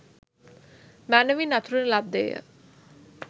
මැනැවින් අතුරන ලද්දේ ය